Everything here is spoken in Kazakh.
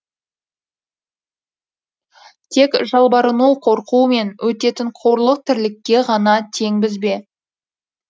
тек жалбарыну қорқумен өтетін қорлық тірлікке ғана теңбіз бе